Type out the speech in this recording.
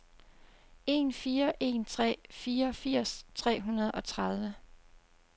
en fire en tre fireogfirs tre hundrede og tredive